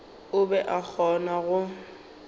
o be a kgona go